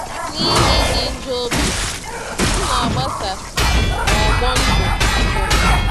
N’ihi ịdị njọ obi, ọtụtụ na-agbasa n’ọgbọ ndụ mpụ.